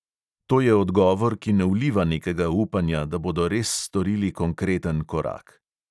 To je odgovor, ki ne vliva nekega upanja, da bodo res storili konkreten korak.